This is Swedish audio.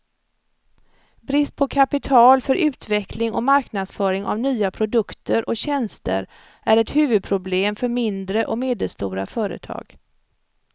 Brist på kapital för utveckling och marknadsföring av nya produkter och tjänster är ett huvudproblem för mindre och medelstora företag.